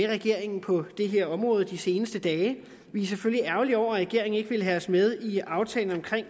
regeringen på det her område de seneste dage vi er selvfølgelig ærgerlige over at regeringen ikke vil have os med i aftalen om